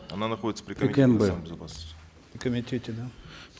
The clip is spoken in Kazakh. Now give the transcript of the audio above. она находится при кнб при комитете да